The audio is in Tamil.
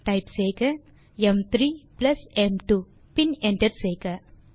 டைப் செய்க m3m2 பின் என்டர் செய்க